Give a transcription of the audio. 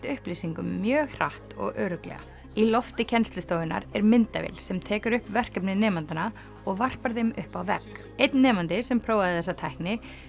upplýsingum mjög hratt og örugglega í lofti kennslustofunnar er myndavél sem tekur upp verkefni nemendanna og varpar þeim upp á vegg einn nemandi sem prófaði þessa tækni